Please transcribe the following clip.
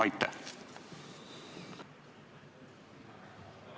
Aitäh!